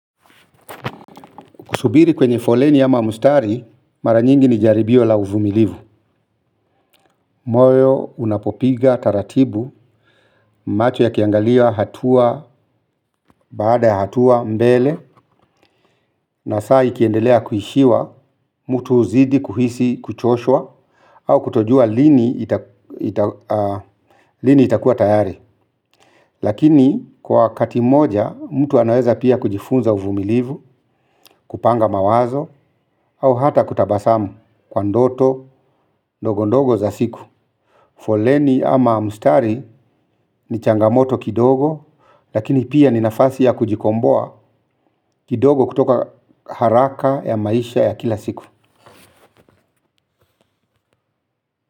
Kusubiri kwenye foleni ama mstari, mara nyingi ni jaribio la uvumilivu. Moyo, unapopiga, taratibu, macho yakiangalia, hatua, baada ya hatua, mbele, na saa ikiendelea kuishiwa, mtu huzidi kuhisi kuchoshwa, au kutojua lini itakuwa tayari. Lakini, kwa wakati moja, mtu anaweza pia kujifunza uvumilivu, kupanga mawazo, au hata kutabasamu kwa ndoto, ndogondogo za siku. Foleni ama mstari ni changamoto kidogo, lakini pia ni nafasi ya kujikomboa kidogo kutoka haraka ya maisha ya kila siku.